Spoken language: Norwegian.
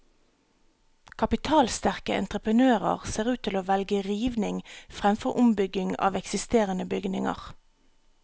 Kapitalsterke entreprenører ser ut til å velge rivning fremfor ombygging av eksisterende bygninger.